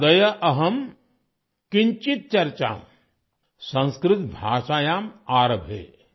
അദ്യ അഹം കിഞ്ചിത് ചർച്ച സംസ്കൃത ഭാഷയാ ആരംഭേ